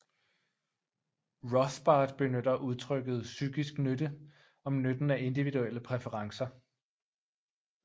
Rothbard benytter udtrykket psykisk nytte om nytten af individuelle præferencer